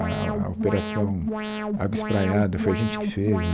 A a a operação Água Espraiada foi a gente que fez.